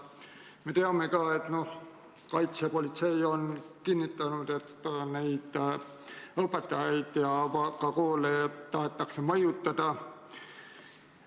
Me teame ka, et kaitsepolitsei on kinnitanud: õpetajaid ja ka koole tahetakse mõjutada.